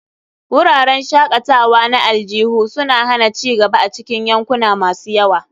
Wuraren shakatawa na aljihu suna hana ci gaba a cikin yankuna masu yawa.